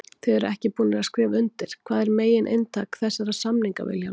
Þið eruð ekki búnir að skrifa undir, hvað er megin inntak þessara samninga Vilhjálmur?